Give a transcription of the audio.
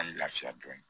An lafiya dɔn